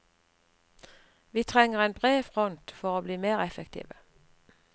Vi trenger en bred front for å bli mer effektive.